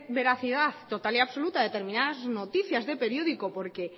veracidad total y absoluta a determinadas noticias de periódico porque